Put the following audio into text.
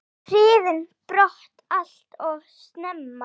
Hrifinn brott allt of snemma.